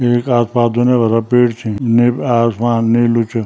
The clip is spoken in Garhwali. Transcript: येक आस-पास दुनिया भरा पेड़ छी नीलू आसमान नीलू च।